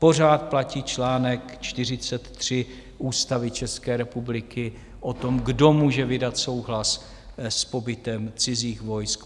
Pořád platí čl. 43 Ústavy České republiky o tom, kdo může vydat souhlas s pobytem cizích vojsk.